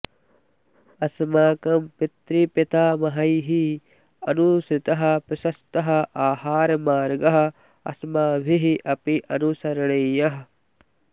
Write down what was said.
अस्माकं पितृपितामहैः अनुसृतः प्रशस्तः आहारमार्गः अस्माभिः अपि अनुसरणीयः